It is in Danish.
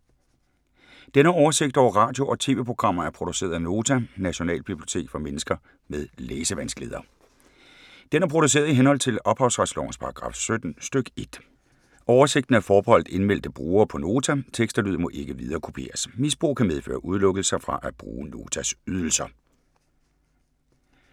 Denne oversigt over radio og TV-programmer er produceret af Nota, Nationalbibliotek for mennesker med læsevanskeligheder. Den er produceret i henhold til ophavsretslovens paragraf 17 stk. 1. Oversigten er forbeholdt indmeldte brugere på Nota. Tekst og lyd må ikke viderekopieres. Misbrug kan medføre udelukkelse fra at bruge Notas ydelser.